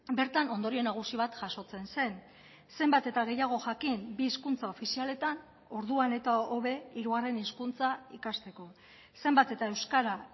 bertan ondorio nagusi bat jasotzen zen zenbat eta gehiago jakin bi hizkuntza ofizialetan orduan eta hobe hirugarren hizkuntza ikasteko zenbat eta euskara